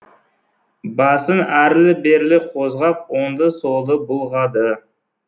басын әрлі берлі қозғап оңды солды бұлғады